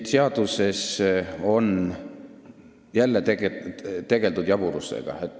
Seaduses on jälle tegeldud jaburlusega.